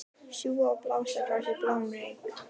Sjúga og blása frá sér bláum reyk.